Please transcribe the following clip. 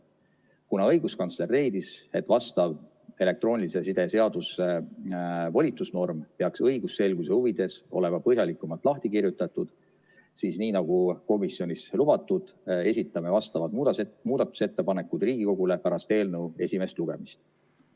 Kuna õiguskantsler leidis, et vastav elektroonilise side seaduse volitusnorm peaks õigusselguse huvides olema põhjalikumalt lahti kirjutatud, siis nii nagu komisjonis lubatud, esitame vastavad muudatusettepanekud Riigikogule pärast eelnõu esimest lugemist.